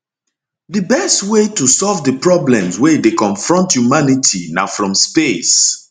di best way to solve di problems wey dey confront humanity na from space